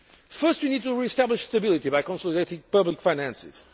First, we need to re establish stability by consolidating public finances.